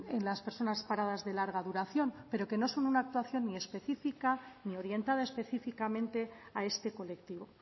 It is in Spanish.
en las personas paradas de larga duración pero que no son una actuación ni específica ni orientada específicamente a este colectivo